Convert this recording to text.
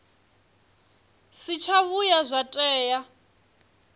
si tsha vhuya zwa tea